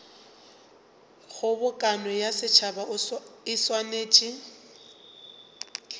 kgobokano ya setšhaba e swanetše